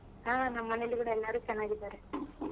ಆ ನಮ್ಮನೇಲು ಕೂಡ ಎಲ್ಲಾರು ಚೆನ್ನಾಗಿದ್ದಾರೆ.